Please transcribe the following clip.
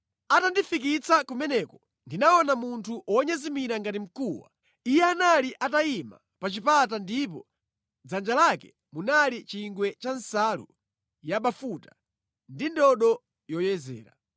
Atandifikitsa kumeneko ndinaona munthu wonyezimira ngati mkuwa. Iye anali atayima pa chipata ndipo mʼdzanja lake munali chingwe cha nsalu yabafuta ndi ndodo yoyezera.